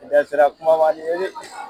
I da sera kumama nin ye dɛ.